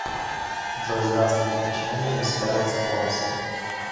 джой здравствуйте почему у меня не собираются бонусы